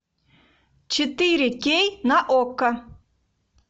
четыре кей на окко